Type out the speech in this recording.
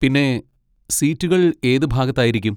പിന്നെ, സീറ്റുകൾ ഏത് ഭാഗത്തായിരിക്കും?